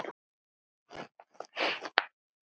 En hvað með Ísland.